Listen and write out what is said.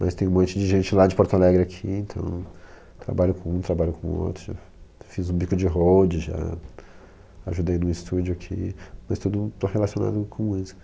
Mas tem um monte de gente lá de Porto Alegre aqui, então trabalho com um, trabalho com outro, já fiz um bico de hold, já ajudei num estúdio aqui, mas tudo relacionado com música.